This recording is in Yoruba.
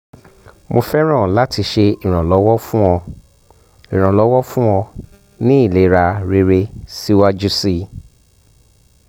mo fẹràn lati ṣe iranlọwọ fun ọ iranlọwọ fun ọ ni ilera rere siwaju sii